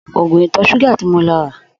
Ògùn ìtò̩-s̩úgà ti mo lo̩ ra